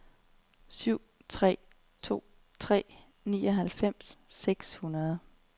syv tre to tre nioghalvfems seks hundrede